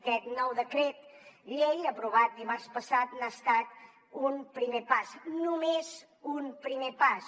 aquest nou decret llei aprovat dimarts passat n’ha estat un primer pas només un primer pas